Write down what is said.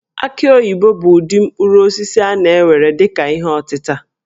Aki oyibo bụ ụdị mkpụrụ osisi a na-ewere dị ka ihe ọtịta